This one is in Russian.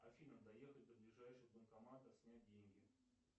афина доехать до ближайшего банкомата снять деньги